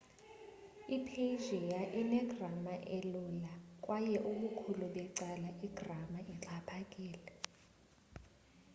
i-persian ine-grama elula kwaye ubukhulu becala igrama ixhaphakile